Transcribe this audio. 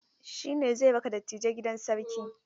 Shine zai raka dattijai gidan sarki.